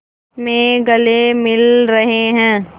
में गले मिल रहे हैं